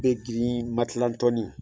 Bɛ girin matilantɔni